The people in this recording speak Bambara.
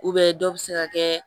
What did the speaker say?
dɔ bɛ se ka kɛ